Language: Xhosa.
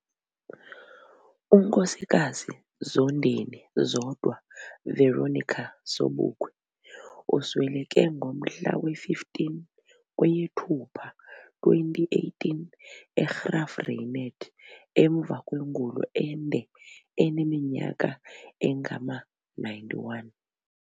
UNkosikazi Zondeni Zodwa Veronica Sobukwe usweleke ngomhla we 15 kweyeThupa 2018 eGraaf Reinet emva kwengulo ende eneminyaka engama-91.